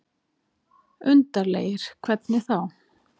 Undarlegir. hvernig þá?